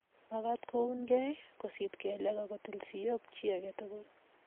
mekat koungei, kosit kelek, aku til sioik chi age tugul